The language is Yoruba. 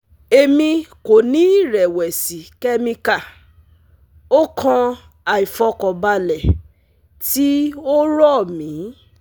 Emi ko ni irẹwẹsi chemical… o kan aifọkanbalẹ ti o rọ mi